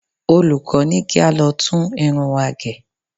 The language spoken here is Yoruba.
Olùkọ́ ní kí á lọ tún irun wa gẹ̀.